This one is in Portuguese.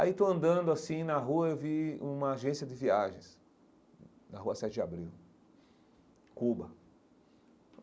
Aí estou andando assim na rua e vi uma agência de viagens, na rua Sete de Abril, Cuba.